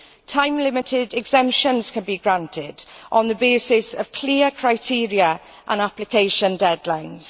Time limited exemptions can be granted on the basis of clear criteria and application deadlines.